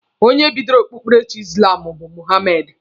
Onye bidoro okpukperechi izlamu bu Mohamedi